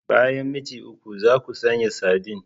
Bayan minti uku, za ku sanya sardine.